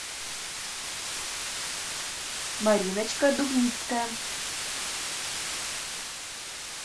мариночка дубницкая